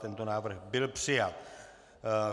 Tento návrh byl přijat.